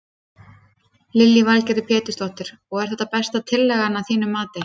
Lillý Valgerður Pétursdóttir: Og er þetta besta tillagan að þínu mati?